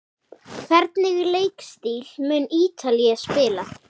Hvernig leikstíl mun Ítalía spila?